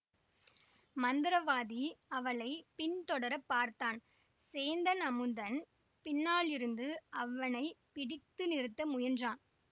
மந்திரவாதி அவளை பின் தொடர பார்த்தான் சேந்தன் அமுதன் பின்னாலிருந்து அவனை பிடித்து நிறுத்த முயன்றான்